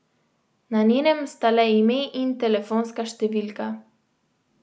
Na njenem sta le ime in telefonska številka.